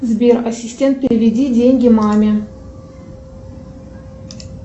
сбер ассистент переведи деньги маме